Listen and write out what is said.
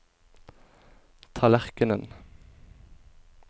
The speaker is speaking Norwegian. tallerkenen